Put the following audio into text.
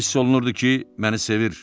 Hiss olunurdu ki, məni sevir.